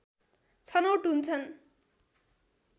छनौट हुन्छन्